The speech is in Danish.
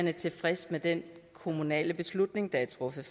er tilfredse med den kommunale beslutning der er truffet